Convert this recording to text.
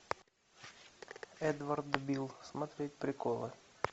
эдвард бил смотреть приколы